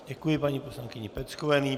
Děkuji paní poslankyni Peckové.